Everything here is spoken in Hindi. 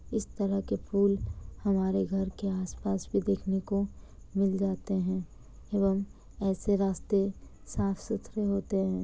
इस तरह के फूल हमारे घर के आस-पास भी देखने को मिल जाते हैं एवम ऐसे रास्ते साफ-सुथरे होते हैं।